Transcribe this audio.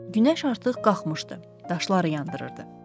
Günəş artıq qalxmışdı, daşları yandırırdı.